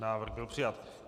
Návrh byl přijat.